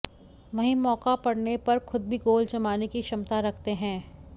वहीं मौका पड़ने पर खुद भी गोल जमाने की क्षमता रखते हैं